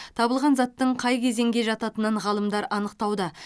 табылған заттың қай кезеңге жататынын ғалымдар анықтауда